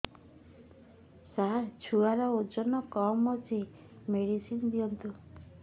ସାର ଛୁଆର ଓଜନ କମ ଅଛି ମେଡିସିନ ଦିଅନ୍ତୁ